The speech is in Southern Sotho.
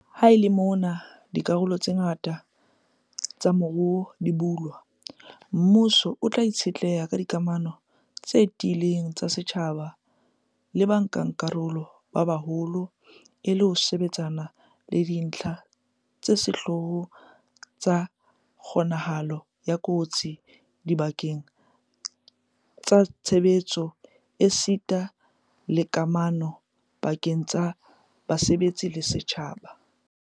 Ha e le mona dikarolo tse ngata tsa moruo di bulwa, mmuso o tla itshetleha ka dikamano tse tiileng tsa setjhaba le bankakarolo ba baholo e le ho sebetsana le dintlha tsa sehlooho tsa kgo-nahalo ya kotsi dibakeng tsa tshebetso esita le kamano pa-keng tsa basebetsi le setjhaba.